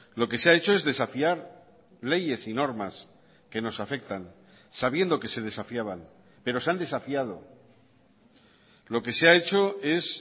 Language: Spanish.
lo que se ha hecho es desafiar leyes y normas que nos afectan sabiendo que se desafiaban pero se han desafiado lo que se ha hecho es